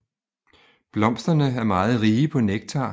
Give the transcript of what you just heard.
Blomsterne er meget rige på nektar